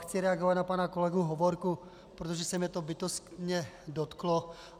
Chci reagovat na pana kolegu Hovorku, protože se mě to bytostně dotklo.